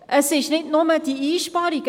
Es sind nicht nur die Einsparungen.